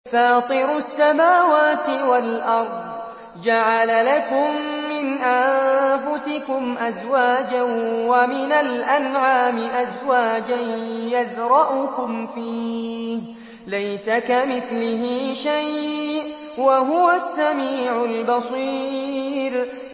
فَاطِرُ السَّمَاوَاتِ وَالْأَرْضِ ۚ جَعَلَ لَكُم مِّنْ أَنفُسِكُمْ أَزْوَاجًا وَمِنَ الْأَنْعَامِ أَزْوَاجًا ۖ يَذْرَؤُكُمْ فِيهِ ۚ لَيْسَ كَمِثْلِهِ شَيْءٌ ۖ وَهُوَ السَّمِيعُ الْبَصِيرُ